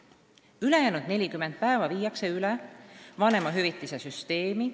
Ülejäänud 40 päeva viiakse üle vanemahüvitise süsteemi.